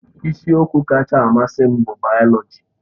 Isiokwu kacha mmasị m bụ bayoloji.